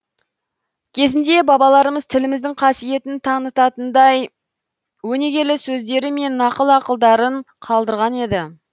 кезінде бабаларымыз тіліміздің қасиетін танытатындай өнегелі сөздері мен нақыл ақылдарын қалдырған еді